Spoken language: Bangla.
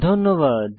ধন্যবাদ